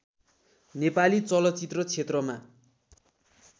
नेपाली चलचित्र क्षेत्रमा